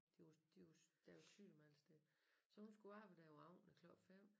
De jo de jo der jo sygdom alle steder så hun skulle arbejde der om aftenen æ klok 5